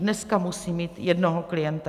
Dneska musí mít jednoho klienta.